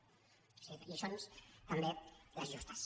o sigui que lliçons també les justes